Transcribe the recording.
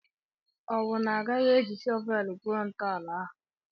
Ọwụ na Ọ gaghị eji shọvelu gwuo ntọala ahụ?